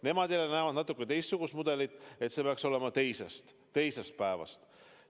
Nemad näevad natukene teistsugust mudelit: et see peaks olema alates teisest päevast.